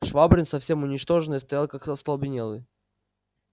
швабрин совсем уничтоженный стоял как остолбенелый